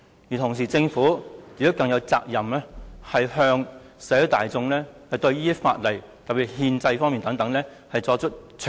與此同時，政府有責任向社會大眾詳細交代法例涉及憲制方面的事宜。